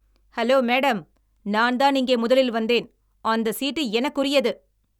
Hello madam, நான்தான் இங்கே முதலில் வந்தேன். அந்த சீட்டு எனக்குரியது.